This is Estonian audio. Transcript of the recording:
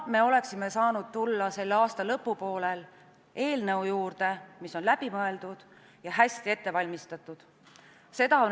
Me oleksime saanud tulla selle aasta lõpupoolel eelnõu juurde, mis on läbi mõeldud ja hästi ette valmistatud.